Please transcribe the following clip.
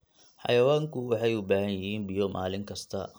Xayawaanku waxay u baahan yihiin biyo maalin kasta.